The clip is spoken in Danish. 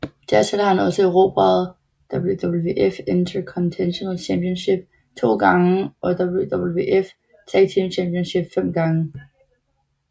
Dertil har han også erobret WWF Intercontinental Championship to gange og WWF Tag Team Championship fem gange